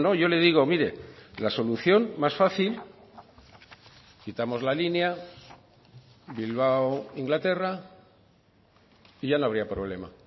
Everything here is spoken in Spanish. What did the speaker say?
yo le digo mire la solución más fácil quitamos la línea bilbao inglaterra y ya no habría problema